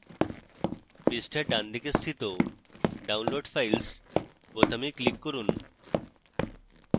পৃষ্ঠার ডানদিকে স্থিত download files বোতামে click করুন